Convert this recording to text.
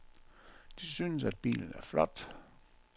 De synes, at bilen er flot.